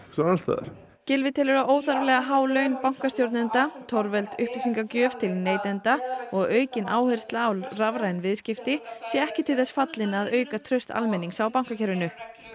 staðar annars staðar Gylfi telur að óþarflega há laun bankastjórnenda torveld upplýsingagjöf til neytenda og aukin áhersla á rafræn viðskipti sé ekki til þess fallin að auka traust almennings á bankakerfinu